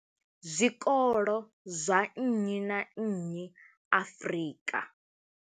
Zwikolo zwa nnyi na nnyi Afrika.